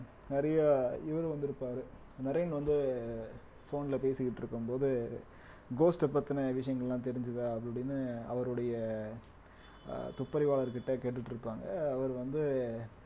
நிறைய இவரு வந்திருப்பாரு நரேன் வந்து phone ல பேசிக்கிட்டிருக்கும்போது ghost அ பத்தின விஷயங்கள் எல்லாம் தெரிஞ்சதா அப்படி இப்படின்னு அவருடைய அஹ் துப்பறிவாளர்கிட்ட கேட்டுட்டு இருப்பாங்க அவர் வந்து